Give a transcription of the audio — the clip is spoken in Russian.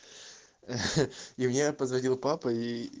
ха и мне позвонил папа ии